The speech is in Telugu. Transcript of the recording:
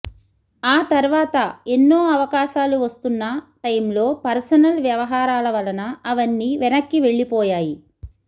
ఆ తర్వాత ఎన్నో అవకాశాలు వస్తున్న టైంలో పర్సనల్ వ్యవహారాల వలన అవన్నీ వెనక్కి వెళ్ళిపోయాయి